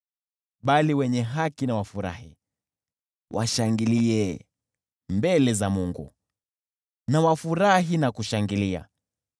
Bali wenye haki na wafurahi, washangilie mbele za Mungu, wafurahi na kushangilia.